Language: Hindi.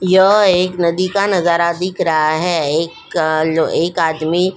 यह एक नदी का नजारा दिख रहा है एक एक आदमी ।